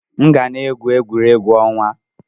M ga na-egwu egwuregwu ọnwa.